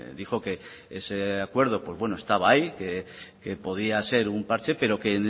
dijo que ese acuerdo pues bueno estaba ahí que podía ser un parche pero que